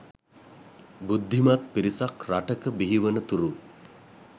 බුද්ධිමත් පිරිසක් රටක බිහිවන තුරු